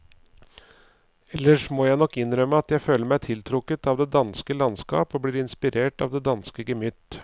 Ellers må jeg nok innrømme at jeg føler meg tiltrukket av det danske landskap og blir inspirert av det danske gemytt.